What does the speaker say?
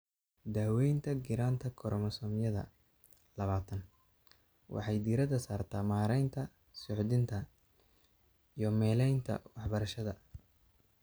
Daaweynta giraanta koromosoomyada labatan waxay diiradda saartaa maareynta suuxdinta iyo meelaynta waxbarashada.